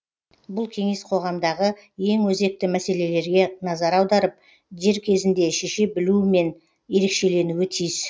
бұл кеңес қоғамдағы ең өзекті мәселелерге назар аударып дер кезінде шеше білуімен ерекшеленуі тиіс